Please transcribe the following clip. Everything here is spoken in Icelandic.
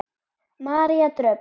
María Dröfn.